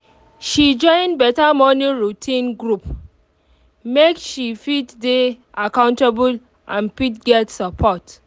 she join better morning routine group make she fit dey accountable and fit get support